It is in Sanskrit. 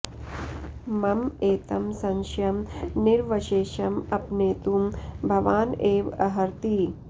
मम एतं संशयं निरवशेषम् अपनेतुं भवान् एव अर्हति